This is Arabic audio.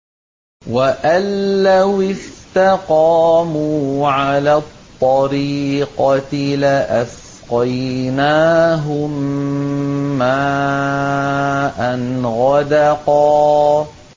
وَأَن لَّوِ اسْتَقَامُوا عَلَى الطَّرِيقَةِ لَأَسْقَيْنَاهُم مَّاءً غَدَقًا